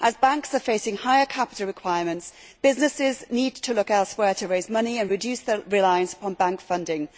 As banks are facing higher capita requirements, businesses need to look elsewhere to raise money and reduce their reliance on bank funding.